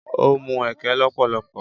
Ó mu ẹkẹ lọ́pọ̀lọpọ̀.